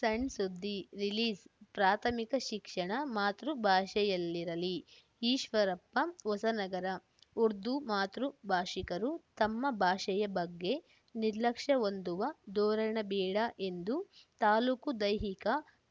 ಸಣ್‌ಸುದ್ದಿ ರಿಲೀಸ್‌ಪ್ರಾಥಮಿಕ ಶಿಕ್ಷಣ ಮಾತೃ ಭಾಷೆಯಲ್ಲಿರಲಿ ಈಶ್ವರಪ್ಪ ಹೊಸನಗರ ಉರ್ದು ಮಾತೃ ಭಾಷಿಕರು ತಮ್ಮ ಭಾಷೆಯ ಬಗ್ಗೆ ನಿರ್ಲಕ್ಷ್ಯ ಹೊಂದುವ ಧೋರಣೆ ಬೇಡ ಎಂದು ತಾಲೂಕು ದೈಹಿಕ